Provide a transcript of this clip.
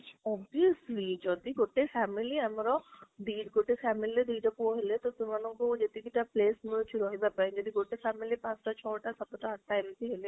obviously ଯଦି ଗୋଟେ family ଆମର ଗୋଟେ family ରେ ଦିଟା ପୂୟ ହେଲେ ତ ସେମାଙ୍କୁ ଯେଟିଇକି ଟା space ମିଳୁଛି ରହିବା ପାଇଁ, ଯଦି ଗୋଟେ family ରେ ପାଞ୍ଚ, ଛଟା, ସାତଟା, ଆଠଟା ମେଇଟୀ ହେଲେ